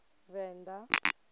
venda